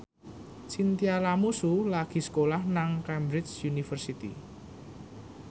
Chintya Lamusu lagi sekolah nang Cambridge University